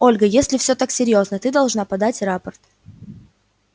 ольга если всё так серьёзно ты должна подать рапорт